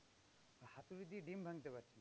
হাতুড়ি দিয়ে ডিম্ ভাঙতে পারছে না।